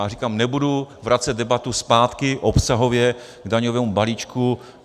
A říkám, nebudu vracet debatu zpátky obsahově k daňovému balíčku.